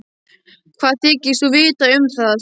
Hvað þykist þú vita um það?